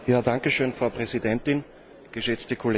Frau Präsidentin, geschätzte Kollegen!